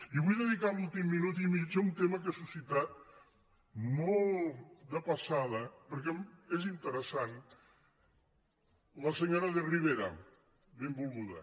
i vull dedicar l’últim minut i mig a un tema que ha suscitat molt de passada perquè és interessant la se·nyora de rivera benvolguda